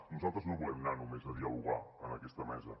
nosaltres no volem anar només a dialogar en aquesta mesa